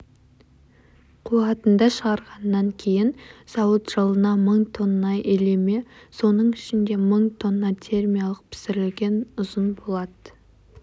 қуатында шығарғаннан кейін зауыт жылына мың тонна илеме соның ішінде мың тоннатермиялық пісірілген ұзын болат